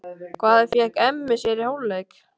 Hvað fékk Emmi sér í hálfleik?